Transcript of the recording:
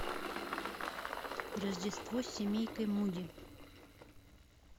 рождество с семейкой муди